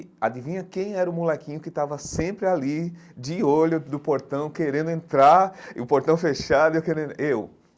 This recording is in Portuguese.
E adivinha quem era o molequinho que estava sempre ali, de olho no portão, querendo entrar, e o portão fechado e eu querendo en? eu